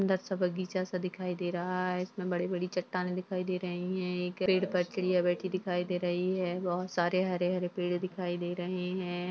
सुंदर-सा बगीचा-सा दिखाई दे रहा है इसमें बड़ी-बड़ी चट्टानें दिखाई दे रही हैं एक पर चिड़िया बेठी दिखाई दे रही है बहोत सारे हरे-हरे पेड़ दिखाई दे रहे हैं।